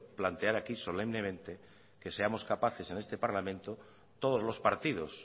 plantear aquí solemnemente que seamos capaces en este parlamento todos los partidos